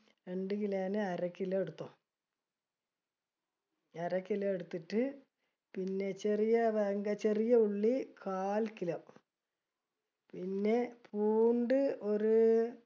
രണ്ട് kilo ന് അര kilo എടുത്തോ അര ക്കിലോ എടുത്തിട്ട് പിന്നെ ചെറിയ വെങ്കായം ചെറിയ ഉള്ളി കാൽ kilo. പിന്നെ പൂണ്ട് ഒരു